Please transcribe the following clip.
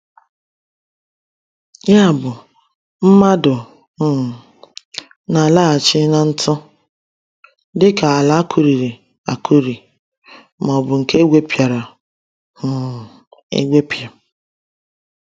Ya bụ, mmadụ um na-alaghachi “n’ntū,” dịka ala akụriri akụri ma ọ bụ nke egwepịara um egwepịa.